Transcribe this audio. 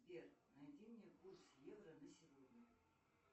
сбер найди мне курс евро на сегодня